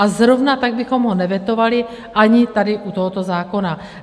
A zrovna tak bychom ho nevetovali ani tady u tohoto zákona.